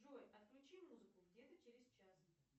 джой отключи музыку где то через час